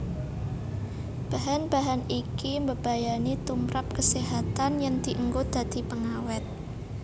Bahan bahan iki mbebayani tumprap kaséhatan yén dienggo dadi pengawét